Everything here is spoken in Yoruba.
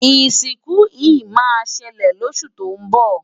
isinku he ma sele losu to nbo